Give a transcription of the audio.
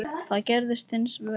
Það gerðist hins vegar ekki.